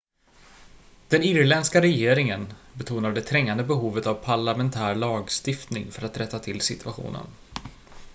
den irländska regeringen betonar det trängande behovet av parlamentär lagstiftning för att rätta till situationen